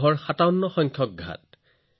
এনেদৰেই এই সংখ্যাবোৰ হয় শংখ পদ্ম আৰু সাগৰলৈ